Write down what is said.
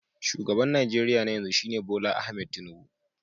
Shugaban Najeriya na yanzu shine Bola Ahmed Tinubu